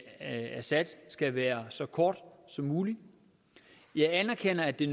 assad skal være så kort som mulig jeg anerkender at det